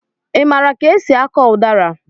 I maara ka esị akọ udara?